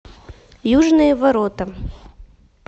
южные ворота